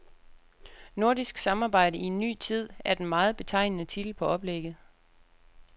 Nordisk samarbejde i en ny tid er den meget betegnende titel på oplægget.